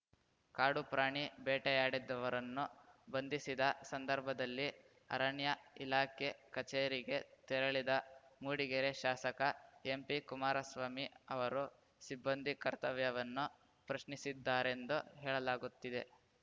ಕಾಡು ಪ್ರಾಣಿ ಬೇಟೆಯಾಡಿದ್ದವರನ್ನು ಬಂಧಿಸಿದ ಸಂದರ್ಭದಲ್ಲಿ ಅರಣ್ಯಇಲಾಖೆ ಕಚೇರಿಗೆ ತೆರಳಿದ ಮೂಡಿಗೆರೆ ಶಾಸಕ ಎಂಪಿ ಕುಮಾರಸ್ವಾಮಿ ಅವರು ಸಿಬ್ಬಂದಿ ಕರ್ತವ್ಯವನ್ನು ಪ್ರಶ್ನಿಸಿದ್ದಾರೆಂದು ಹೇಳಲಾಗುತ್ತಿದೆ